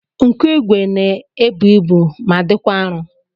Nkụigwe na-ebu ibu ma dịkwa arụ